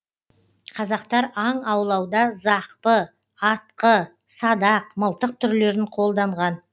қазақтар аң аулауда зақпы атқы садақ мылтық түрлерін қолданған